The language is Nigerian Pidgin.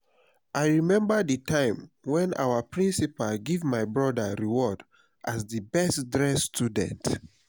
i remember the time wen our principal give my broda award as the best dressed student